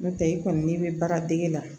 N'o tɛ i kɔni n'i bɛ baara dege la